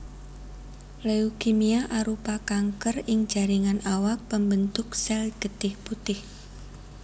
Leukemia arupa kanker ing jaringan awak pambentuk sel getih putih